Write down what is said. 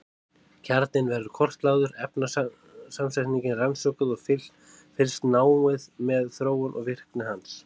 Kjarninn verður kortlagður, efnasamsetningin rannsökuð og fylgst náið með þróun og virkni hans.